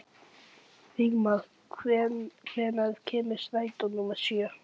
Vígmar, hvenær kemur strætó númer sjö?